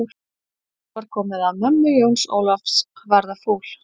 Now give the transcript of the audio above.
Nú var komið að mömmu Jóns Ólafs að verða fúl.